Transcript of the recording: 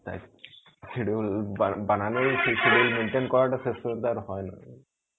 shedule শেষ পর্যন্ত আর হয়না.